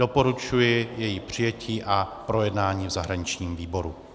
Doporučuji její přijetí a projednání v zahraničním výboru.